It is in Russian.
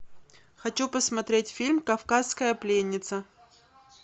хочу посмотреть фильм кавказская пленница